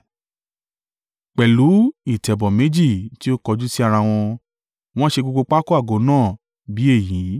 pẹ̀lú ìtẹ̀bọ̀ méjì tí ó kọjú sí ara wọn. Wọ́n ṣe gbogbo pákó àgọ́ náà bí èyí.